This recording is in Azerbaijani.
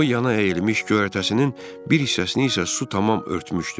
O yana əyilmiş göyərtəsinin bir hissəsini isə su tamam örtmüşdü.